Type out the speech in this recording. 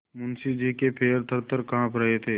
मुंशी जी के पैर थरथर कॉँप रहे थे